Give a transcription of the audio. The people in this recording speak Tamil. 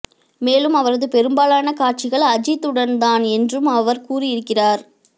மேலும் அவரது பெரும்பாலான காட்சிகள் அஜித் உடன் தான் என்றும் அவர் கூறியிருக்கிறார்